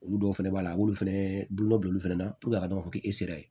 Olu dɔw fɛnɛ b'a la a b'olu fɛnɛ bolon fana a b'a fɔ k'e sera ye